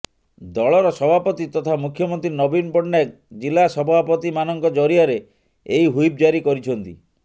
ଦଳର ସଭାପତି ତଥା ମୁଖ୍ୟମନ୍ତ୍ରୀ ନବୀନ ପଟ୍ଟନାୟକ ଜିଲ୍ଲା ସଭାପତିମାନଙ୍କ ଜରିଆରେ ଏହି ହୁଇପ୍ ଜାରି କରିଛନ୍ତି